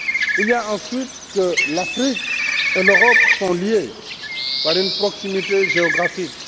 Il y a ensuite que l'Afrique et l'Europe sont liées par une proximité géographique.